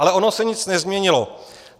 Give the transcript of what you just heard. Ale ono se nic nezměnilo.